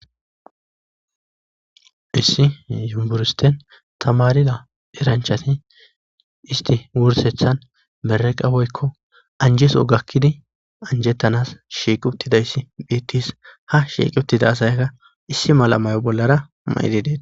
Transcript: Issi yumburisten tamarida eranchati isti wursethan mereqawoykko anjeso gakkidi anjettanas shieq uttidayssi bettis ha shieq uttida asayakka issi mala mayo bollara mayidi dee.